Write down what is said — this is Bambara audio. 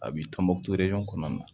A b'i tɔnbɔ kɔnɔna na